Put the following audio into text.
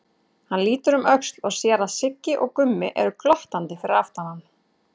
Hann lítur um öxl og sér að Siggi og Gummi eru glottandi fyrir aftan hann.